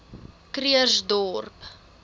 krugersdorp